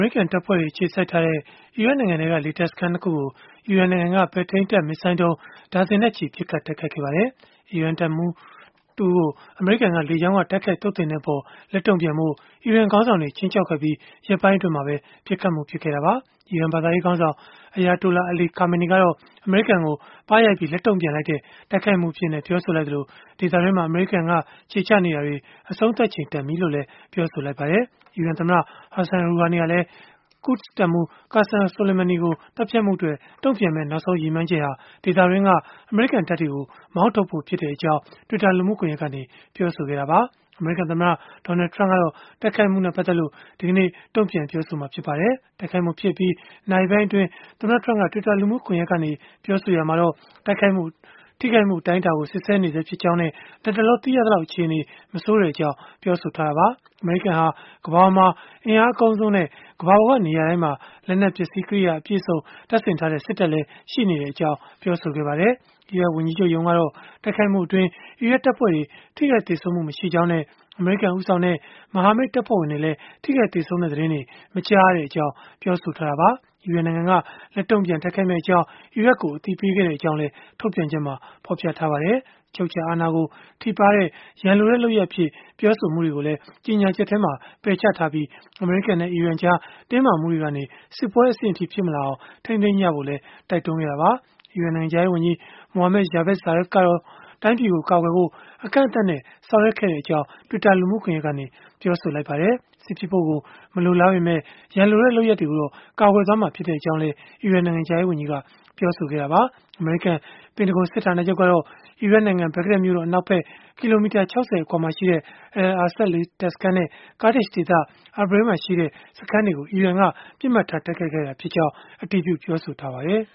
ရိကန်တပ်ဖွဲ့တွေ အခြေစိုက်ထားတဲ့ အီရတ်နိုင်ငံတွင်းက လေတပ်စခန်း ၂ ခုကို အီရန်နိုင်ငံက ပဲ့ထိန်းတပ်မစ်ဇိုင်းဒုံး ဒါဇင်နဲ့ချီ ပစ်ခတ် တိုက်ခိုက်ခဲ့ပါတယ်။ အီရန်ထိပ်တန်း တပ်မှူးတဦးကို အမေရိကန်က လေကြောင်းကနေ တိုက်ခိုက် သုတ်သင်ခဲ့တဲ့အပေါ် လက်တုံ့ပြန်ဖို့ အီရန်ခေါင်းဆောင်တွေ ခြိမ်းခြောက်ခဲ့ပြီး ရက်ပိုင်းအတွင်းမှာပဲ ပစ်ခတ်မှုဖြစ်ခဲ့တာပါ။ အီရန်ဘာသာရေးခေါင်းဆောင် Ayatollah Ali Khamenei ကတော့ အမေရိကန်ကို ပါးရိုက်ပြီး လက်တုံ့ပြန်လိုက်တဲ့ တိုက်ခိုက်မှုအဖြစ် ပြောဆိုခဲ့သလို၊ ဒေသတွင်းမှာ အမေရိကန် ခြေချနေတာတွေ အဆုံးသတ်ချိန်တန်ပြီလို့လည်း ပြောဆိုခဲ့ပါတယ်။ အီရန်သမ္မတ Hassan Rouhani ကလည်း Quds တပ်မှူး Qassem Soleimani ကို သတ်ဖြတ်မှုအတွက် တုံ့ပြန်မယ့် နောက်ဆုံးရည်မှန်းချက်ဟာ ဒေသတွင်းက အမေရိကန်တပ်တွေကို မောင်းထုတ်ဖို့ ဖြစ်ကြောင်း twitter လူမှုကွန်ရက်ကနေ ပြောဆိုခဲ့တာပါ။ အမေရိကန်သမ္မတ Donald Trump ကတော့ တိုက်ခိုက်မှုနဲ့ ပတ်သက်လို့ ဒီနေ့ တုံ့ပြန်ပြောဆိုလိမ့်မယ်လို့ ခန့်မှန်းရပါတယ်။ တိုက်ခိုက်မှုဖြစ်အပြီး နာရီပိုင်းအတွင်း သမ္မတ Trump က Twitter လူမှုကွန်ရက်ကနေ ပြောဆိုရာမှာတော့ ထိခိုက်မှုအတိုင်းအတာကို စစ်ဆေးနေဆဲဖြစ်ကြောင်းနဲ့ လတ်တလော သိရလောက် အခြေအနေ မဆိုးကြောင်း ပြောဆိုခဲ့တာပါ။ အမေရိကန်ဟာ ကမ္ဘာပေါ်မှာ အင်အားအကောင်းဆုံးနဲ့ ကမ္ဘာပေါ်က နေရာတိုင်းမှာ လက်နက်ပစ္စည်းကရိယာ အပြည့်အစုံ တပ်ဆင်ထားတဲ့ စစ်တပ်လည်း ရှိနေကြောင်း ပြောဆိုခဲ့ပါတယ်။ အီရတ်ဝန်ကြီးချုပ်ရုံးကတော့ တိုက်ခိုက်မှုအတွင်း အီရတ်တပ်ဖွဲ့တွေ ထိခိုက်သေဆုံးမှု မရှိကြောင်းနဲ့ အမေရိကန်ဦးဆောင်တဲ့ မဟာမိတ်တပ်ဖွဲ့ဝင်တွေလည်း ထိခိုက်သေဆုံးမှု သတင်းတွေ မကြားရကြောင်း ပြောဆိုထားတာပါ။ အီရန်နိုင်ငံက လက်တုံ့ပြန်တိုက်ခိုက်မယ့်အကြောင်း အီရတ်ကို အသိပေးခဲ့ကြောင်းလည်း ထုတ်ပြန်ချက်မှာ ဖော်ပြထားပါတယ်။ အချုပ်အခြာအာဏာကို ထိပါးတဲ့ ရန်လိုတဲ့လုပ်ရပ်အဖြစ် ပြောဆိုမှုတွေကိုလည်း ကြေညာချက်က ပယ်ချခဲ့ပြီး၊ အမေရိကန်နဲ့ အီရန်တို့ကြား တင်းမာမှုတွေကနေ စစ်ပွဲအဆင့်အထိ ဖြစ်မလာအောင် ထိန်းသိမ်းကြဖို့လည်း တိုက်တွန်းခဲ့တာပါ။ အီရန်နိုင်ငံခြားရေးဝန်ကြီး Mohammad Javad Zarif ကတော့ တိုင်းပြည်ကို ကာကွယ်ဖို့ အကန့်အသတ်နဲ့ ဆောင်ရွက်ခဲ့ကြောင်း Twitter လူမှုကွန်ရက်ကနေ ပြောဆိုခဲ့ပါတယ်။ စစ်ဖြစ်ဖို့ မလိုလားပေမဲ့ ရန်လိုတဲ့ လုပ်ရပ်တွေကိုတော့ ကာကွယ်သွားမှာ ဖြစ်ကြောင်းလည်း အီရန်နိုင်ငံခြားရေး ဝန်ကြီးက ပြောဆိုခဲ့တာပါ။ အမေရိကန် ပင်တဂွန်စစ်ဌာနချုပ်ကတော့ အီရတ်နိုင်ငံ ဘဂ္ဂဒက်မြို့တော် အနောက်ဖက် ကီလိုမီတာ ၆၀ အကွာမှာရှိတဲ့ Al-Asad လေတပ်စခန်းနဲ့ Kurdish ဒေသ Irbil မှာရှိတဲ့ စခန်းတွေကို အီရန်က ပစ်မှတ်ထား တိုက်ခိုက်ခဲ့တာ ဖြစ်ကြောင်း အတည်ပြု ပြောဆိုထားပါတယ်